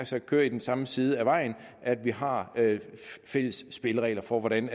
sagt kører i den samme side af vejen at vi har fælles spilleregler for hvordan